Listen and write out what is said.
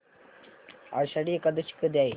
आषाढी एकादशी कधी आहे